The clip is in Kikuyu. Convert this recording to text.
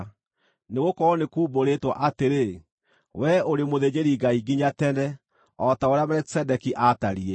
Nĩgũkorwo nĩkuumbũrĩtwo atĩrĩ: “Wee ũrĩ mũthĩnjĩri-Ngai nginya tene, o ta ũrĩa Melikisedeki aatariĩ.”